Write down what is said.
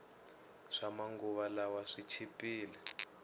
swama nguva lawa swi chipile